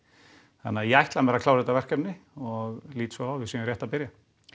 þannig að ég ætla mér að klára þetta verkefni og lít svo á að við séum rétt að byrja